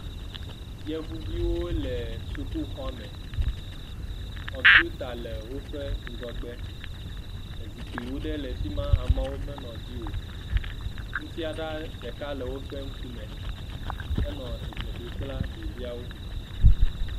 Yevuwo le suku xɔme. Kɔmpita le woƒe ŋgɔgbe. Ezikpuivi ɖewo le afima ameawo me nɔ edzi o. Nufiala ɖeka nɔ woƒe ŋkume. Enɔ edze ɖom kple ɖeviwo.